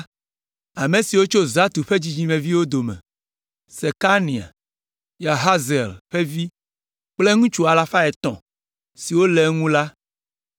Ame siwo tso Zatu ƒe dzidzimeviwo dome: Sekania, Yahaziel ƒe vi kple ŋutsu alafa etɔ̃ (300) siwo le eŋu la;